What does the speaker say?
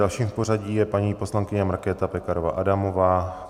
Dalším v pořadí je paní poslankyně Markéta Pekarová Adamová.